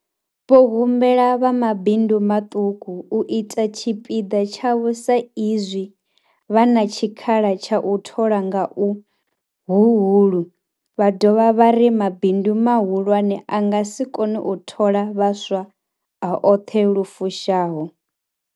Vho humbela vha mabindu maṱuku u ita tshipiḓa tshavho sa izwi vha na tshikhala tsha u thola nga uhuhulu, vha dovha vha ri mabindu mahulwane a nga si kone u thola vhaswa a oṱhe lu fushaho.